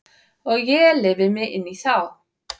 Og ég lifi mig inn í þá.